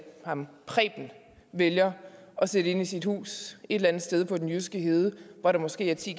ham vælger at sætte ind i sit hus et eller andet sted på den jyske hede hvor der måske er ti